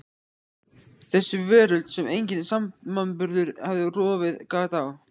Þessi veröld sem enginn samanburður hafði rofið gat á.